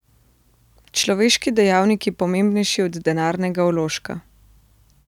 Človeški dejavnik je pomembnejši od denarnega vložka.